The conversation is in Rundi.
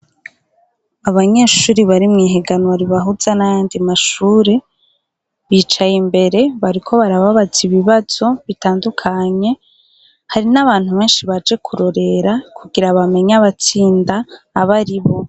Abanyeshuri bari mw' ihiganwa ribahuza n' ayandi mashure, bicaye imbere, bariko barababaza ibibazo bitandukanye, hari n' abantu benshi baje kurorera kugira bamenye abatsinda abaribo .